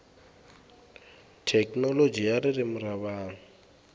thekinoloji ya ririmi ra vanhu